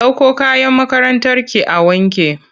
Ɗauko kayan makarantarki a wanke!